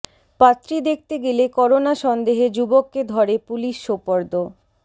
পাত্রী দেখতে গেলে করোনা সন্দেহে যুবককে ধরে পুলিশে সোপর্দ